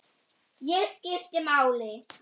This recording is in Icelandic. Ég skipti máli.